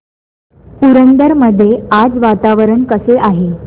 पुरंदर मध्ये आज वातावरण कसे आहे